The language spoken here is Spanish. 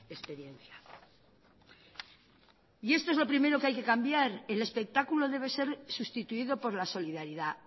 experiencia y esto es lo primero que hay que cambiar el espectáculo debe ser sustituido por la solidaridad